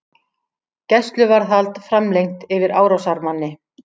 Gæsluvarðhald framlengt yfir árásarmanni